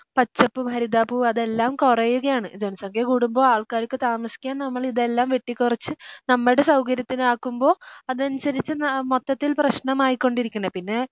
പച്ചപ്പും ഹരിതാഭവും അതെല്ലാം കുറയുകയാണ് ജനസംഖ്യ കൂടുമ്പോ ആൾക്കാർക്ക് താമസിക്കാൻ നമ്മളിതെല്ലാം വെട്ടിക്കുറച്ച് നമ്മടെ സൗകര്യത്തിനാക്കുമ്പോ അതനുസരിച്ച് ന മൊത്തത്തിൽ പ്രശ്നമായിക്കൊണ്ടിരിക്കണെ പിന്നെ